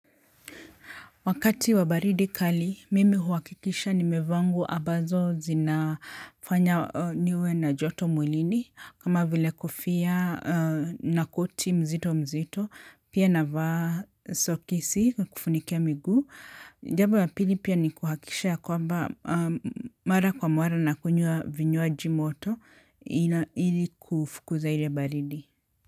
Wakati wa baridi kali, mimi huwakikisha ni mevaa nguo ambazo zinafanya niwe na joto mwilini. Kama vile kofia na koti mzito mzito, pia navaa sokisi kufunikia miguu. Jambo ya pili pia ni kuhakisha kwamba mara kwa mara na kunywa vinywaji moto ili kufukuza ile baridi.